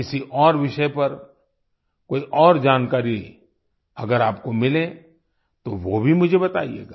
किसी और विषय पर कोई और जानकारी अगर आपको मिले तो वो भी मुझे बताइयेगा